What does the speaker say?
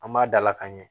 An b'a dala ka ɲɛ